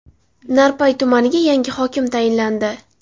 Narpay tumaniga yangi hokim tayinlandi.